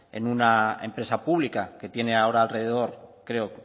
en una empresa pública que tiene ahora alrededor creo